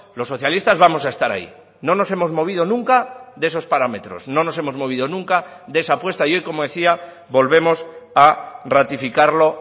los socialistas vamos a estar ahí no nos hemos movido nunca de esos parámetros no nos hemos movido nunca de esa apuesta y hoy como decía volvemos a ratificarlo